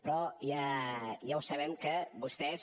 però ja ho sabem que vostès